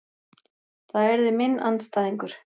Það yrði minn andstæðingur.